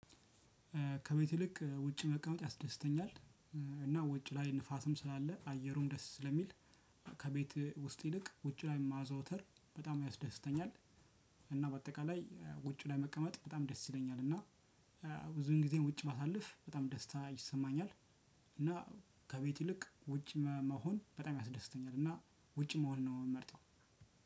ከቤት ይልቅ ውጭ መቀመጥ ያስደስተኛል እና ውጭ ላይ ንፋስም ስላለ አየሩም ደስ ስለሚል ከቤት ውስጥ ይንቅ ውጭ ላይ ማዘውተር በጣም ያስደስተኛል። እና በአጠቃላይ ውጭ ላይ መቀመጥ በጣም ደስ ይለኛል እና ብዙን ጊዜን ውጭ ባሳልፍ በጣም ደስታ ይሰማኛል። እና ከቤት ይልቅ ውጭ መሆን በጣም ያስደስተኛል እና ውጭ መሆን ነው የምመርጠው።